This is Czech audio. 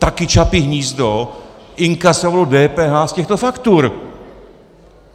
Taky Čapí hnízdo inkasovalo DPH z těchto faktur